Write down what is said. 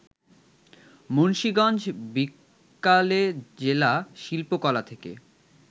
মুন্সীগঞ্জ বিকালেজেলা শিল্পকলা থেকে